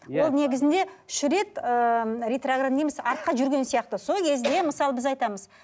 ол негізінде үш рет ыыы артқа жүрген сияқты сол кезде мысалы біз айтамыз